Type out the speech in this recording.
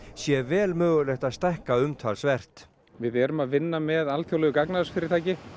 sé vel mögulegt að stækka umtalsvert við erum að vinna með alþjóðlegu gagnaversfyrirtæki